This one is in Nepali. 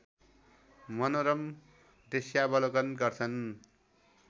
मनोरम दृष्यावलोकन गर्छन्